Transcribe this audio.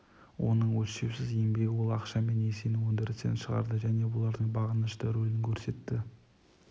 оның өлшеусіз еңбегі ол ақша мен несиені өндірістен шығарды және бұлардың бағынышты рөлін көрсетті